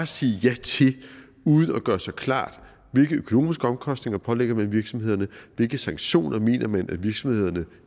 sige ja til uden at gøre sig klart hvilke økonomiske omkostninger man pålægger virksomhederne og hvilke sanktioner man mener virksomhederne